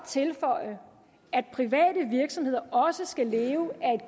tilføje at private virksomheder også skal leve af